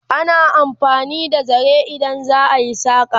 ana amfani da zare idan za'a yi saƙa